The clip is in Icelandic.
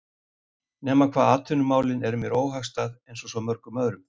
. nema hvað atvinnumálin eru mér óhagstæð einsog svo mörgum öðrum